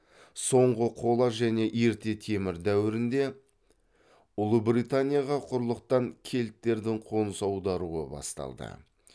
соңғы қола және ерте темір дәуірінде ұлыбританияға құрлықтан кельттердің қоныс аударуы басталды